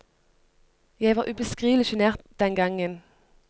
Jeg var ubeskrivelig sjenert den gangen.